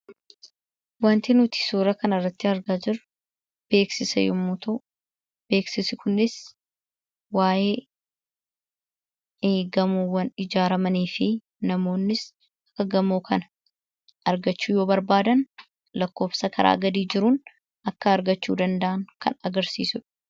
Wanti nuti suura kanarratti argaa jirru beeksisa yommuu ta'u, beeksisni kunis waa'ee gamoowwan ijaaramanii fi namoonnis gamoo kana argachuu yoo barbaadan lakkoofsa karaa gadii jiruun akka argachuu danda’an kan agarsiisudha.